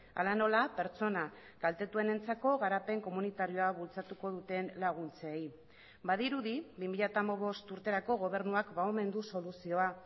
hala nola pertsona kaltetuenentzako garapen komunitarioa bultzatuko duten laguntzei badirudi bi mila hamabost urterako gobernuak ba omen du soluzioa